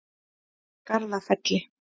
Garðafelli